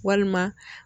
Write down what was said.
Walima